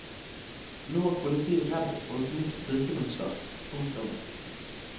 Nå er politiet redd for et nytt drikkemønster. punktum